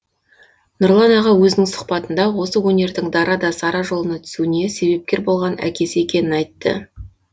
нұрлан аға өзінің сұхбатында осы өнердің дара да сара жолына түсуіне себепкер болған әкесі екенін айтты